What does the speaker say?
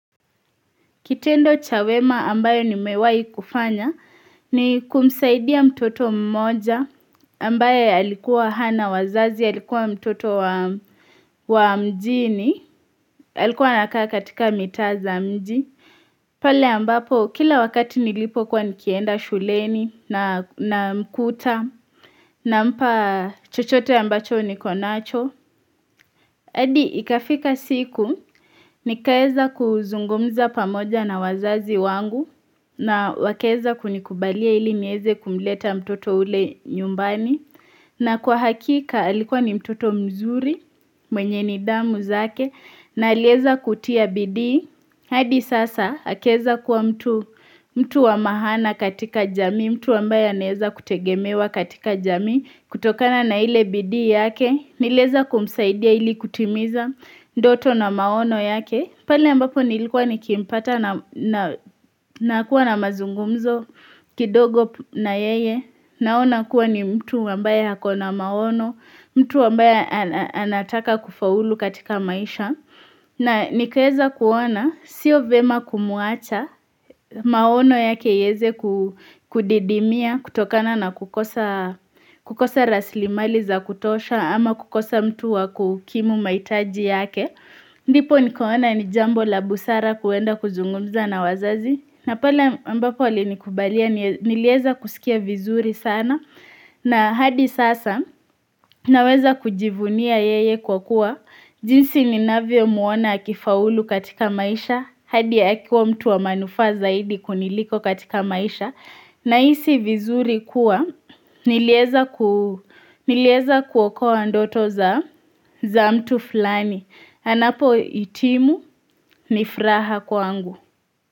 Kitendo cha wema ambayo nimewai kufanya ni kumsaidia mtoto mmoja ambayo alikuwa hana wazazi alikuwa mtoto wa mjini alikuwa ana kaa katika mitaza mji pale ambapo kila wakati nilipo kwa nikienda shuleni na mkuta na mpa chochote ambacho nikonacho. Hadi ikafika siku, nikaeza kuzungumza pamoja na wazazi wangu, na wakeeza kunikubalia ili nieze kumleta mtoto ule nyumbani, na kwa hakika alikuwa ni mtoto mzuri mwenye nidamu zake, na alieza kutia bidii. Hadi sasa akeza kuwa mtu wa mahana katika jami, mtu wambaye aneeza kutegemewa katika jami, kutokana na ile bidi yake, nileza kumsaidia ili kutimiza, doto na maono yake. Pale ambapo nilikuwa ni kimpata na kuwa na mazungumzo, kidogo na yeye, naona kuwa ni mtu wambaye hako na maono, mtu wambaya anataka kufaulu katika maisha, na nikeza kuwana, sio vema kumuacha, maono yake yeze kudidimia, kutokana na kukosa raslimali za kutosha, ama kukosa mtu wakukimu maitaji yake. Ndipo nikoona nijambo la busara kuenda kuzungumza na wazazi na pole mbapo lini kubalia nilieza kusikia vizuri sana na hadi sasa naweza kujivunia yeye kwa kuwa jinsi ni navio muona akifaulu katika maisha hadi ya akiwa mtu wa manufaa zaidi kuniliko katika maisha na isi vizuri kuwa nilieza kuoko wa ndoto za mtu fulani anapo itimu nifuraha kwangu.